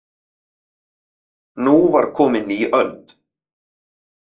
Nú var komin ný öld.